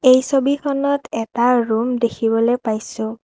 এই ছবিখনত এটা ৰুম দেখিবলে পাইছোঁ।